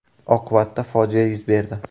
Oqibatda fojia yuz berdi.